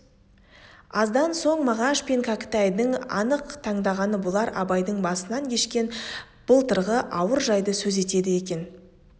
аздан соң мағаш пен кәкітайдың анық аңдағаны бұлар абайдың басынан кешкен былтырғы ауыр жайды сөз етеді екен